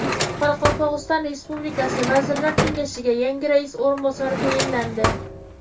Qoraqalpog‘iston Respublikasi Vazirlar Kengashiga yangi rais o‘rinbosari tayinlandi.